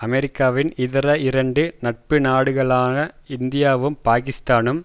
அமெரிக்காவின் இதர இரண்டு நட்புநாடுகளான இந்தியாவும் பாக்கிஸ்தானும்